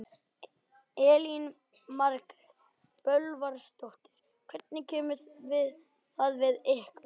Elín Margrét Böðvarsdóttir: Hvernig kemur það við ykkur?